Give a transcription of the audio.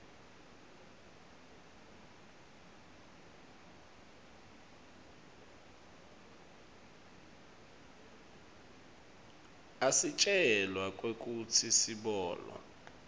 asitjela kwekutsi sibolwa